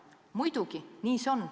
Muidugi, nii see on.